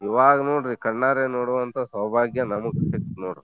ಇವಾಗ್ ನೋದ್ರಿ ಕಣ್ಣಾರೆ ನೋಡೂವಂತಾ ಸೌಭಾಗ್ಯ ನಮುಗ್ ಸಿಗ್ತ್ ನೋಡ್.